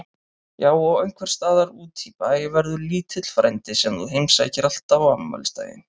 Já og einhvers staðar útí bæ verður lítill frændi sem þú heimsækir alltaf á afmælisdaginn.